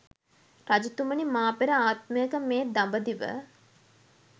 රජතුමනි, මා පෙර ආත්මයක මේ දඹදිව